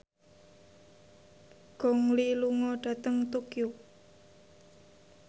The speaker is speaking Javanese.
Gong Li lunga dhateng Tokyo